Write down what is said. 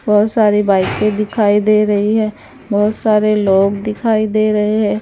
बहुत सारी बाइके दिखाई दे रही है बहुत सारे लोग दिखाई दे रहे हैं।